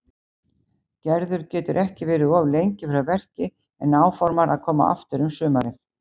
Gerður getur ekki verið of lengi frá verki en áformar að koma aftur um sumarið.